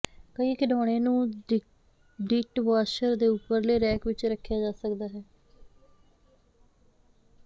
ਕਈ ਖਿਡੌਣੇ ਨੂੰ ਡੀਟਵਾਸ਼ਰ ਦੇ ਉਪਰਲੇ ਰੈਕ ਵਿੱਚ ਰੱਖਿਆ ਜਾ ਸਕਦਾ ਹੈ